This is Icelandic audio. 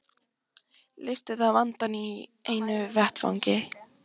Leysti það vandann í einu vetfangi.